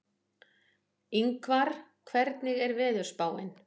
Yngvar, hvernig er veðurspáin?